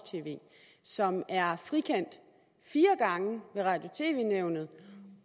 tv som er frikendt fire gange ved radio og tv nævnet